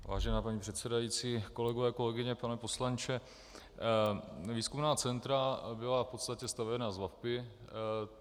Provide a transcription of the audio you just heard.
Vážená paní předsedající, kolegové, kolegyně, pane poslanče, výzkumná centra byla v podstatě stavěna z VaVpI.